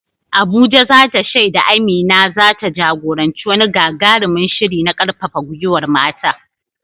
Abuja za ta shaida Amina za ta jagoranci wani gagarumin shiri na karfafa gwiwar mata.